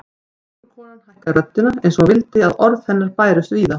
Göngukonan hækkaði röddina eins og hún vildi að orð hennar bærust víða